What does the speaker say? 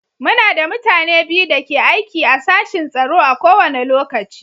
Muna da mutane biyu da ke aiki a sashin tsaro a kowane lokaci.